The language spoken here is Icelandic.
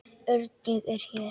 Örn, ég er hér